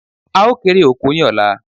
Áà ó kéré oko ni ọ̀la